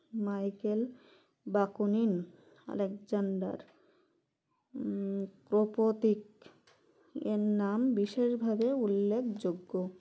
Michael Bakunin Alexander মম ও প্রতিক এর নাম বিশেষ ভাবে উল্লেখযোগ্য